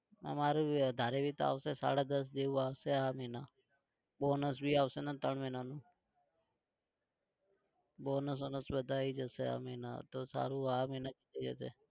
અમારે भी તો આવશે સાડા દસ જેવું આવશે આ મહિના bonusभी આવશે ત્રણ મહિનાનું bonus વોનસ બધું આવી જશે આ મહિનામાં તો સારું આ મહિના જ જોઈએ છે.